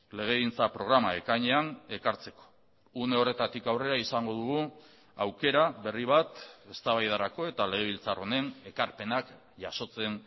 legegintza programa ekainean ekartzeko une horretatik aurrera izango dugu aukera berri bat eztabaidarako eta legebiltzar honen ekarpenak jasotzen